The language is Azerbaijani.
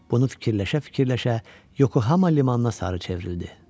Bunu fikirləşə-fikirləşə Yokohamam limanına sarı çevrildi.